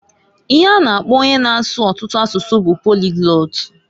Ihe a na-akpo onye na-asu ọtụtụ asụsụ bu poliglot.